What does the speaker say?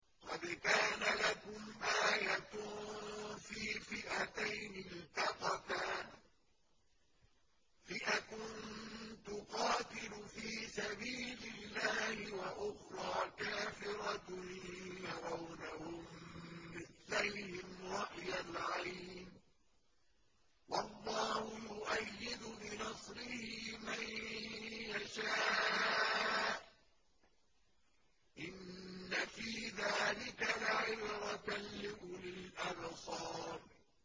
قَدْ كَانَ لَكُمْ آيَةٌ فِي فِئَتَيْنِ الْتَقَتَا ۖ فِئَةٌ تُقَاتِلُ فِي سَبِيلِ اللَّهِ وَأُخْرَىٰ كَافِرَةٌ يَرَوْنَهُم مِّثْلَيْهِمْ رَأْيَ الْعَيْنِ ۚ وَاللَّهُ يُؤَيِّدُ بِنَصْرِهِ مَن يَشَاءُ ۗ إِنَّ فِي ذَٰلِكَ لَعِبْرَةً لِّأُولِي الْأَبْصَارِ